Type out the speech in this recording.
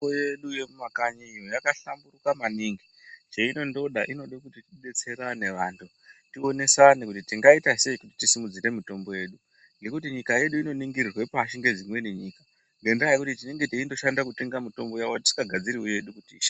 Mitombo yedu yemumakanyi yakahlamburuka maningi. Cheinondoda inode kuti tidetsersne vanhu. Tionesane kuti tingaita sei kuti tisimudzire mitombo yedu ngekuti nyika yedu inoningirirwe pashi ngedzimweni nyika, ngendaa yekuti tinonga teindoshanda kutenga mitombo dzimweni tisingagadziriwo yedu.